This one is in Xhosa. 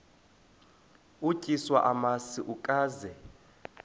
utyiswa namasi ukaze